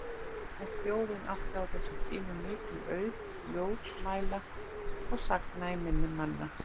En þjóðin átti á þessum tímum mikinn auð ljóðmæla og sagna í minni manna.